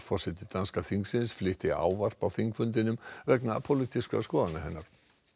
forseti danska þingsins flytti ávarp á þingfundinum vegna pólitískra skoðana hennar